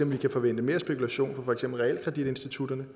vi kan forvente mere spekulation fra for eksempel realkreditinstitutterne